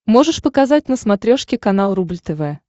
можешь показать на смотрешке канал рубль тв